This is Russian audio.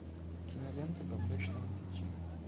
кинолента по млечному пути